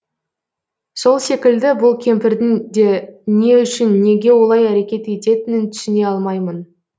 сол секілді бұл кемпірдің де не үшін неге олай әрекет ететінін түсіне алмаймын